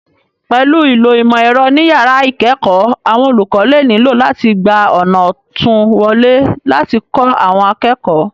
Pẹ̀lú ìlò ìmọ̀ ẹ̀rọ ní yàrá ìkẹ́ẹ̀kọ̀ọ́, àwọn olùkọ́ lè nílò láti gba ọ̀nà òtún wọlé láti kó àwọn akẹ́kọ̀ọ́